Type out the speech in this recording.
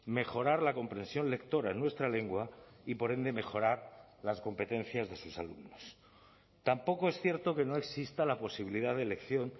mejorar la comprensión lectora en nuestra lengua y por ende mejorar las competencias de sus alumnos tampoco es cierto que no exista la posibilidad de elección